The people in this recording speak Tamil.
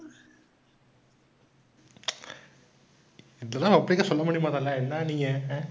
இதெல்லாம் சொல்ல முடியுமா தல, என்னா நீங்க, ஆஹ்